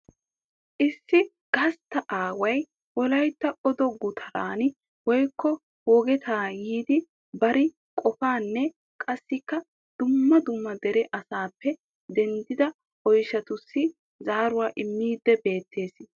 Issi gastta aaway Wolaytta odo gutaaran woykko Wogetan yiidi bari qopanne qassikka dumma dumma dere asappe denddida oyshshatussi zaaruwaa immidi beettees.